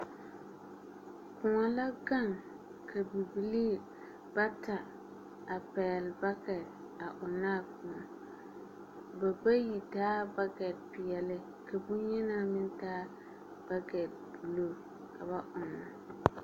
Kõɔ la gaŋ ka bibilii bata a pɛgele bakɛte a ɔnnɔ a kõɔ. Ba bayi taa bakɛte peɛle ka boŋyenaa meŋ taa bakɛte buluu ka ba ɔnnɔ.